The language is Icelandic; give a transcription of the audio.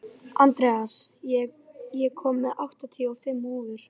Andreas, ég kom með áttatíu og fimm húfur!